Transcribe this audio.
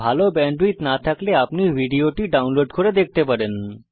ভাল ব্যান্ডউইডথ না থাকলে আপনি ভিডিওটি ডাউনলোড করে দেখতে পারেন